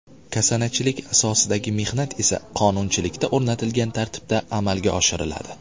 Kasanachilik asosidagi mehnat esa qonunchilikda o‘rnatilgan tartibda amalga oshiriladi.